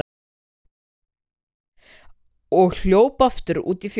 og hljóp aftur út í fjós.